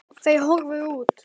Þau horfðu út.